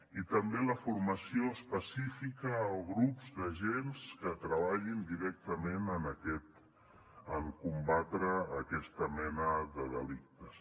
i també la formació específica a grups d’agents que treballin directament per combatre aquesta mena de delictes